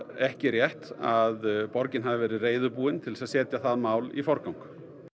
ekki rétt að borgin hafi verið reiðubúin til að setja það mál í forgang